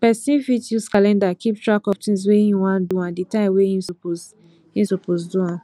person fit use calendar keep track of tins wey im wan do and the time wey im suppose im suppose do am